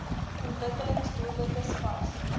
ontwikkelings doelwitte spas